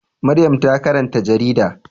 Maryam ta karanta jarida.